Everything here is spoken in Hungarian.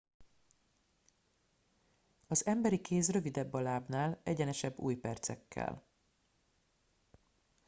az emberi kéz rövidebb a lábnál egyenesebb ujjpercekkel